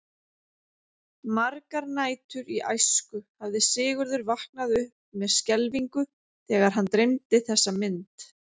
Margar nætur í æsku hafði Sigurður vaknað upp með skelfingu þegar hann dreymdi þessa mynd.